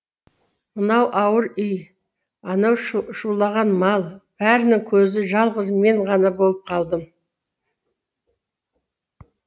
мынау ауыр үй анау шулаған мал бәрінін көзі жалғыз мен ғана болып қалдым